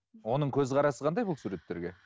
оның көзқарасы қандай бұл суреттерге